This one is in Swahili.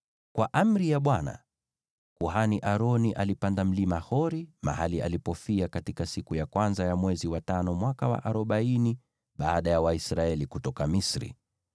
Kwa amri ya Bwana , kuhani Aroni alipanda Mlima Hori, mahali alipofia katika siku ya kwanza ya mwezi wa tano, mwaka wa arobaini baada ya Waisraeli kutoka Misri.